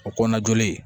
O kɔnɔna joli